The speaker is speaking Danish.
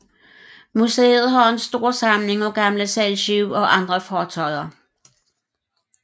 Museet har en stor samling af gamle sejlskibe og andre fartøjer